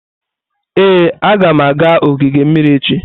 Ee, agam aga ogige mmiri echi.